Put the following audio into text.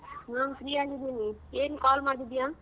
ಹ free ಆಗ್ ಇದೀನಿ. ಏನ್ call ಮಾಡಿದ್ಯಾ?